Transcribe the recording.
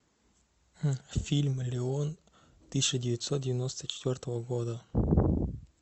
фильм леон тысяча девятьсот девяносто четвертого года